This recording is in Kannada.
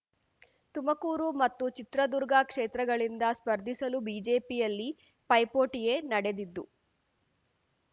ತುಮಕೂರು ಮತ್ತು ಚಿತ್ರದುರ್ಗ ಕ್ಷೇತ್ರಗಳಿಂದ ಸ್ಪರ್ಧಿಸಲು ಬಿಜೆಪಿಯಲ್ಲಿ ಪೈಪೋಟಿಯೇ ನಡೆದಿದ್ದು